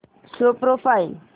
show profile